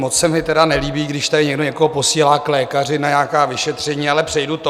Moc se mi tedy nelíbí, když tady někdo někoho posílá k lékaři na nějaká vyšetření, ale přejdu to.